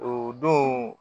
O don